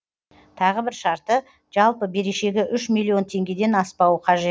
тағы бір шарты жалпы берешегі үш миллион теңгеден аспауы қажет